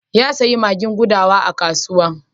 Ya sayo magin gudawa a kasuwa.